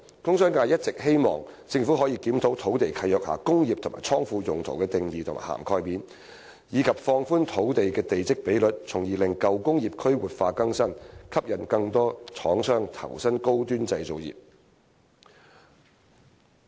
工商界一直希望政府可以檢討土地契約下"工業"及"倉庫"用途的定義和涵蓋面，以及放寬土地地積比率，從而使舊工業區活化更新，吸引更多廠商投身高端製造業。